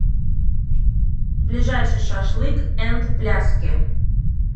ближайший шашлык энд пляски